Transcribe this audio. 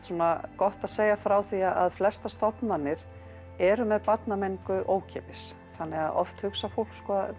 gott að segja frá því að flestar stofnanir eru með barnamenningu ókeypis þannig að oft hugsar fólk